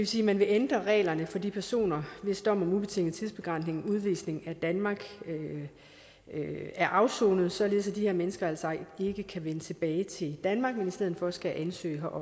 sige at man vil ændre reglerne for de personer hvis dom om ubetinget tidsbegrænset udvisning af danmark er afsonet således at de her mennesker ikke kan vende tilbage til danmark men i stedet for skal ansøge